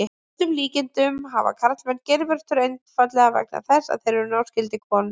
Að öllum líkindum hafa karlmenn geirvörtur einfaldlega vegna þess að þeir eru náskyldir konum.